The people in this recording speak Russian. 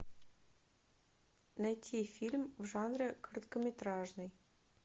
найти фильм в жанре короткометражный